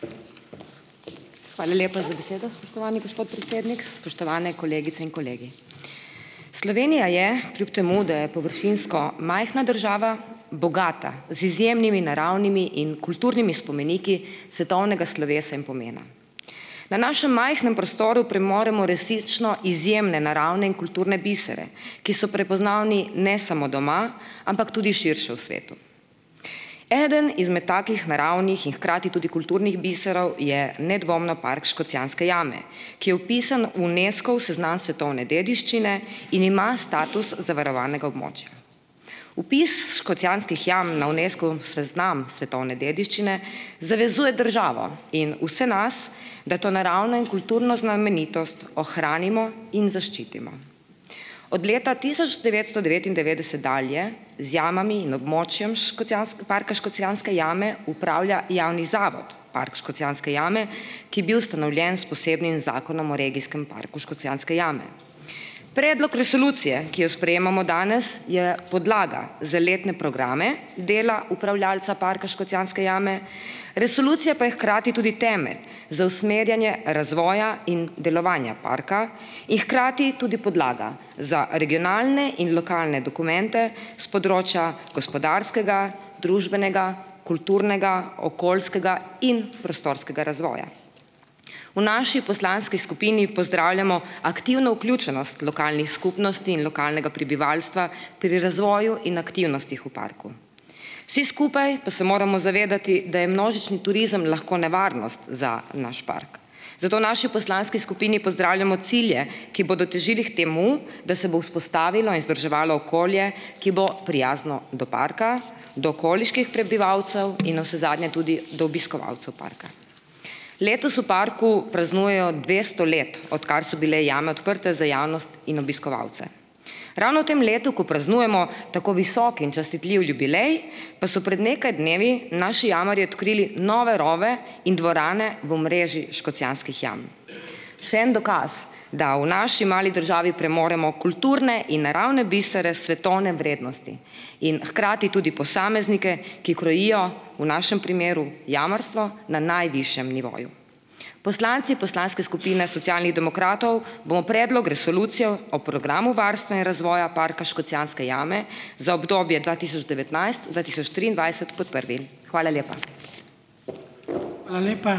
Hvala lepa za besedo, spoštovani gospod predsednik. Spoštovane kolegice in kolegi! Slovenija je kljub temu, da je površinsko majhna država, bogata z izjemnimi naravnimi in kulturnimi spomeniki svetovnega slovesa in pomena. Na našem majhnem prostoru premoremo resnično izjemne naravne in kulturne bisere, ki so prepoznavni ne samo doma, ampak tudi širše v svetu. Eden izmed takih naravnih in hkrati tudi kulturnih biserov je nedvomno Park Škocjanske jame, ki je vpisan v Unescov seznam svetovne dediščine in ima status zavarovanega območja. Vpis Škocjanskih jam na Unescov seznam svetovne dediščine zavezuje državo in vse nas, da to naravno in kulturno znamenitost ohranimo in zaščitimo. Od leta tisoč devetsto devetindevetdeset dalje z jamami in območjem parka Škocjanske jame upravlja javni zavod Park Škocjanske jame, ki je bil ustanovljen s posebnim Zakonom o regijskem parku Škocjanske jame. Predlog resolucije, ki jo sprejemamo danes, je podlaga za letne programe dela upravljavca Parka Škocjanske jame, resolucija pa je hkrati tudi temelj za usmerjanje razvoja in delovanja parka in hkrati tudi podlaga za regionalne in lokalne dokumente s področja gospodarskega, družbenega, kulturnega, okoljskega in prostorskega razvoja. V naši poslanski skupini pozdravljamo aktivno vključenost lokalnih skupnosti in lokalnega prebivalstva pri razvoju in aktivnostih v parku. Vsi skupaj pa se moramo zavedati, da je množični turizem lahko nevarnost za naš park. Zato v naši poslanski skupini pozdravljamo cilje, ki bodo težili k temu, da se bo vzpostavilo in vzdrževalo okolje, ki bo prijazno do parka, do okoliških prebivalcev in navsezadnje tudi do obiskovalcev parka. Letos v parku praznujejo dvesto let, odkar so bile jame odprte za javnost in obiskovalce. Ravno v tem letu, ko praznujemo tako visok in častitljiv jubilej, pa so pred nekaj dnevi naši jamarji odkrili nove rove in dvorane v mreži Škocjanskih jam. Še en dokaz, da v naši mali državi premoremo kulturne in naravne bisere svetovne vrednosti in hkrati tudi posameznike, ki krojijo v našem primeru jamarstvo na najvišjem nivoju. Poslanci poslanske skupine Socialnih demokratov bomo Predlog resolucije o Programu varstva in razvoja Parka Škocjanske jame za obdobje dva tisoč devetnajst-dva tisoč triindvajset podprli. Hvala lepa.